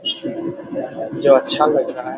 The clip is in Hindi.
जो अच्छा लग रहा है ।